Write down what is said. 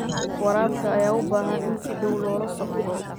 Waraabka ayaa u baahan in si dhow loola socdo.